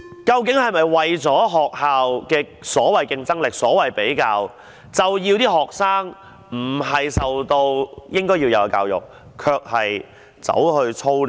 究竟這是否為了凸出學校的所謂的競爭力而進行的比較，而致令學生接受不到應要接受的教育，卻要為 TSA 操練？